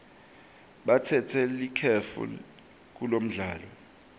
batsatse likefu kulomdlalo